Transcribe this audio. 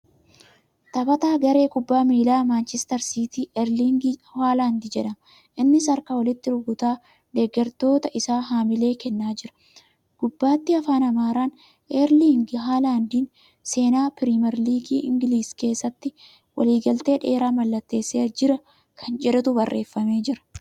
Taphataa garee kubbaa miilaa Maanchistar siitii Eerlingi Haalaandi jedhama. Innis harka walitti rukutaa deeggartoota isaa haamilee kennaa jira. Gubbaatti Afaan Amaaraan ' Eerliingi Haalaandi seenaa piriimeer ligii Ingiliiz keessatti waliigaltee dheeraa mallatteessee jira.' Kan jedhutu barreeffamee jira.